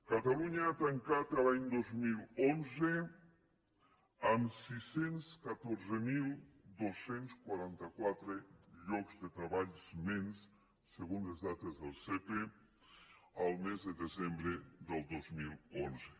catalunya ha tancat l’any dos mil onze amb sis cents i catorze mil dos cents i quaranta quatre llocs de treball menys segons les dades de cepe el mes de desembre del dos mil onze